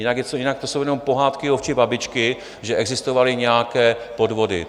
Jinak to jsou jenom pohádky ovčí babičky, že existovaly nějaké podvody.